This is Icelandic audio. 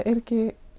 er ekki